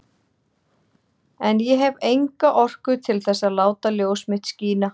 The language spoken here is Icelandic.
En ég hef enga orku til þess að láta ljós mitt skína.